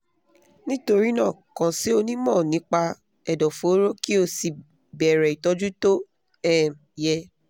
nítorí náà kàn sí onímọ̀ nípa ẹ̀dọ̀fóró kí o sì bẹ̀rẹ̀ ìtọ́jú tó um yẹ